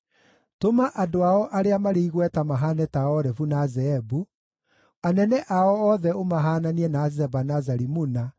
Tũma andũ ao arĩa marĩ igweta mahaane ta Orebu na Zeebu, anene ao othe ũmahaananie na Zeba na Zalimuna,